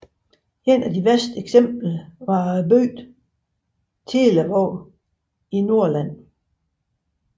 Et af de værste eksempler var bygden Telavåg i Hordaland